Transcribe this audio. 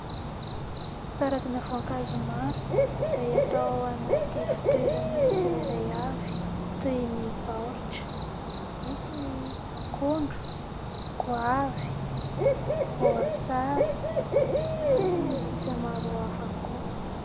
Karazana voankazo maro izay atao anaty fitoerany tsirairay avy toy ny baoritra, misy ny akondro, goavy, voasary ary ny sisa maro hafa koa.